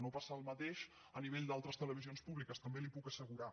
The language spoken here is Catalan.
no passa el mateix a nivell d’altres televisions públiques també li ho puc assegurar